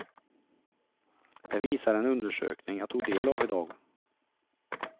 Det visar en undersökning jag tog del av i dag.